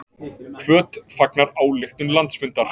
Hvöt fagnar ályktun landsfundar